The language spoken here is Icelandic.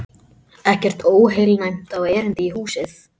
Ekkert óheilnæmt á erindi í húsið.